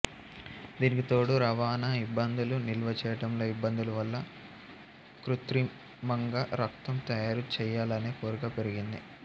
దీనికి తోడు రవాణా ఇబ్బందులు నిల్వ చెయ్యటంలో ఇబ్బందులు వల్ల కృత్రిమంగా రక్తం తయారు చెయ్యాలనే కోరిక పెరిగింది